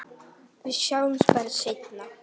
Við sjáumst bara seinna.